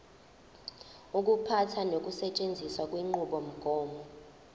ukuphatha nokusetshenziswa kwenqubomgomo